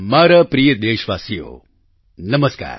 મારા પ્રિય દેશવાસીઓ નમસ્કાર